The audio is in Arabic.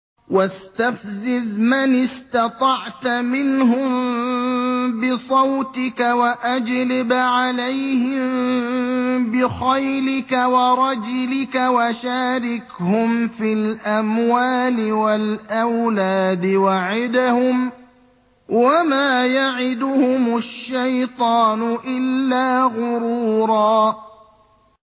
وَاسْتَفْزِزْ مَنِ اسْتَطَعْتَ مِنْهُم بِصَوْتِكَ وَأَجْلِبْ عَلَيْهِم بِخَيْلِكَ وَرَجِلِكَ وَشَارِكْهُمْ فِي الْأَمْوَالِ وَالْأَوْلَادِ وَعِدْهُمْ ۚ وَمَا يَعِدُهُمُ الشَّيْطَانُ إِلَّا غُرُورًا